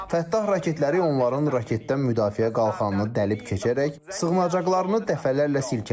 Fəttah raketləri onların raketdən müdafiə qalxanını dəlib keçərək sığınacaqlarını dəfələrlə silkələdi.